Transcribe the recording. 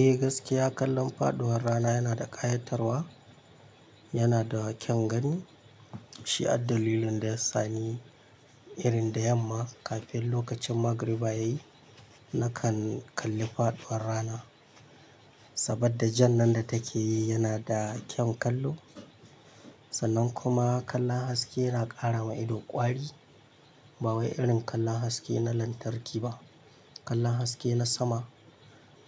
Eh gaskiya kallon faɗuwar rana yana da ƙayatarwa, yana da kyan gani. Shi addalilin da ya sani irin da yamma kafin lokacin magriba yayi nakan kalli faɗuwar rana. Saboda jan nan da take yi yana da kyan kallo sannan kuma kallon haske yana ƙara ma ido ƙwari. Ba wai irin kallon haske na lantarki ba, kallon haske na sama